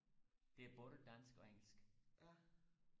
det både dansk og engelsk